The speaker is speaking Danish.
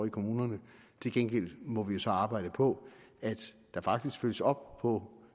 i kommunerne til gengæld må vi så arbejde på at der faktisk følges op på